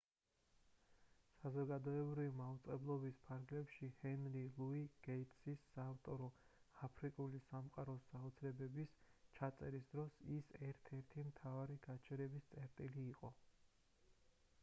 საზოგადოებრივი მაუწყებლობის ფარგლებში ჰენრი ლუი გეიტსის საავტორო აფრიკული სამყაროს საოცრებების ჩაწერის დროს ის ერთ-ერთი მთავარი გაჩერების წერტილი იყო